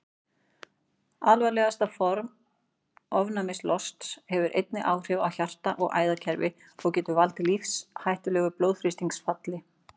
Alvarlegasta form ofnæmislosts hefur einnig áhrif á hjarta- og æðakerfi og getur valdið lífshættulegu blóðþrýstingsfalli.